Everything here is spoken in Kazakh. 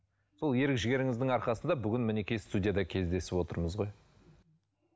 сол ерік жігеріңіздің арқасында бүгін мінекей студияда кездесіп отырмыз ғой